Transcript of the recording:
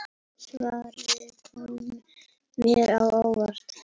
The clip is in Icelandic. Svarið kom mér á óvart.